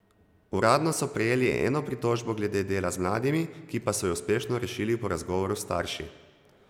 Uradno so prejeli eno pritožbo glede dela z mladimi, ki pa so jo uspešno rešili po razgovoru s starši.